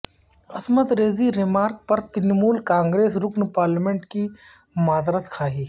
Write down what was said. عصمت ریزی ریمارک پر ترنمول کانگریس رکن پارلیمنٹ کی معذرت خواہی